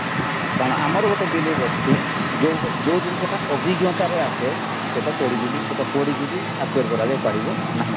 କାରଣ ଆମର ଗୋଟେ believe ଅଛି ଯୋଉ ଯୋଉ ଜିନିଷଟା ଅଭିଜ୍ଞତାରେ ଆସେ ସେଇଟା ପଢିକିବି ସେଇଟା ପଢିକିବି କରାଯାଇ ପାରିବ ନାହିଁ